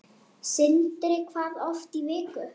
Sindri: Hvað oft í viku?